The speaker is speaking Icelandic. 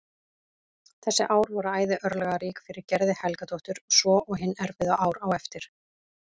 Þessi ár voru æði örlagarík fyrir Gerði Helgadóttur svo og hin erfiðu ár á eftir.